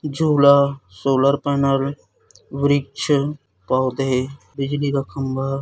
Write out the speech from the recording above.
झूला solar panel वृक्ष पौधे बिजली का खंभा।